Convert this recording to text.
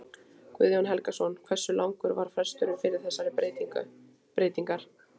Guðjón Helgason: Hversu langur var fresturinn fyrir þessar breytingar?